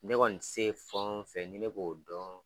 Ne kɔni se ye fɛn o fɛn ni ne b'o dɔn